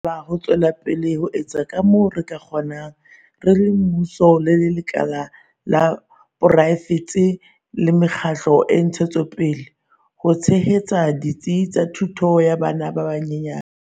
Re lokela ho tswela pele ho etsa kamoo re ka kgonang, re le mmuso, lekala la poraefete le me kgatlo ya ntshetsopele, ho tshehetsa ditsi tsa thuto ya bana ba banyenyane.